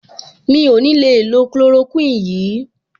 Mi ò ní le lo chloroquine yìí.